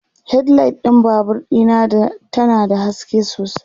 headlight ɗin Babur Dina ta na da haske sosai